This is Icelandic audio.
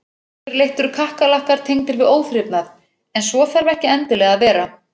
Yfirleitt eru kakkalakkar tengdir við óþrifnað en svo þarf ekki endilega að vera.